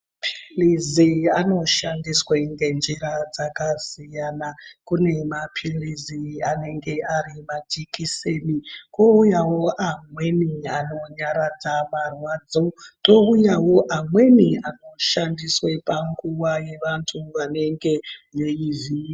Mapilizi anoshandiswa ngenjira dzakasiyana. Kune mapilizi anenge ari majekiseni, kwoyawo amweni anonyatadza marwadzo, touyawo amweni anoshandiswa panguwa yevantu vanenge veivhuyuwa.